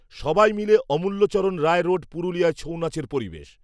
সবাই মিলে অমূল্যচরণ রায় রোড পুরুলিয়ার ছৌ নাচের পরিবেশ